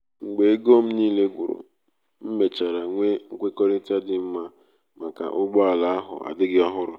mgbe ego m niile gwuru m mechara nwee nkwekọrịta dị mma maka ụgbọ ala ahu adighi ohuru